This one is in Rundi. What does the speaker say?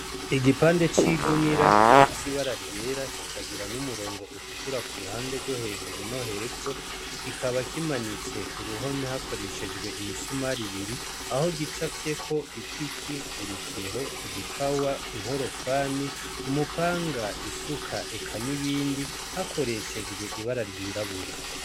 Igipande c'igunira gifise ibara ryera kikagira n'umurongo utukura ku ruhande rwo hejuru no hepfo , kikaba kimanitswe ku ruhome hakoreshejwe imisumari ibiri aho gicafyeko ipiki, urukero, igipawa, inkorofani, umupanga, isuka eka n'ibindi hakoreshejwe ibara ryirabura.